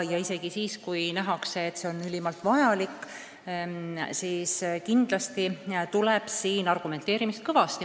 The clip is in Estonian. Ja isegi siis, kui nähakse, et see on ülimalt vajalik, tuleb argumenteerimist ikkagi kõvasti.